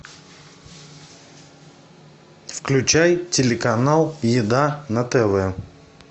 включай телеканал еда на тв